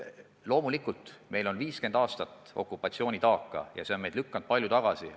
Loomulikult, meil on 50 aastat okupatsioonitaaka ja see on meid palju tagasi lükanud.